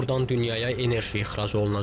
Burdan dünyaya enerji ixrac olunacaq.